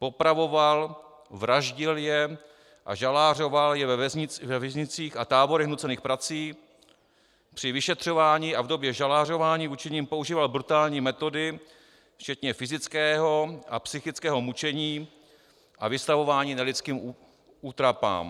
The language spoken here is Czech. popravoval, vraždil je a žalářoval je ve věznicích a táborech nucených prací, při vyšetřování a v době žalářování vůči nim používal brutální metody včetně fyzického a psychického mučení a vystavování nelidským útrapám,